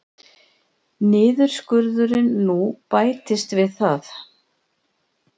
Niðurskurðurinn nú bætist við það